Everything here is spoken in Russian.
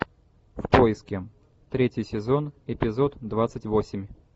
в поиске третий сезон эпизод двадцать восемь